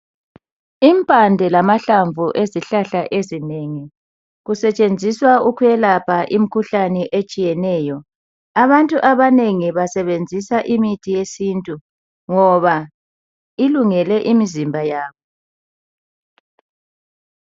Impande lamahlamvu ezihlahla ezinengi kusetshenziswa ukuyelapha imikhuhlane etshiyeneyo abantu abanengi basebenzisa imithi yesintu ngoba ilungele imizimba yabo.